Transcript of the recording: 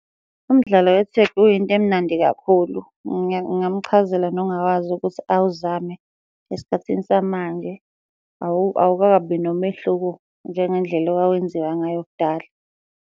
Umdlalo we-tag uyinto emnandi kakhulu. Ngingamuchazela nongawazi ukuthi awuzame esikhathini samanje, awukakabi nomehluko njengendlela owawenziwa ngayo kudala.